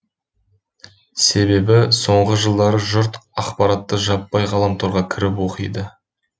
себебі соңғы жылдары жұрт ақпаратты жаппай ғаламторға кіріп оқиды